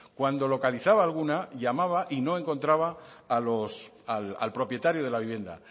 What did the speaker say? cuando localizaba alguna llamaba y no encontraba al propietario de la vivienda